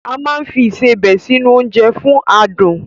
A máa ń fi Ìṣebẹ̀ sí nu oúnjẹ fún adùn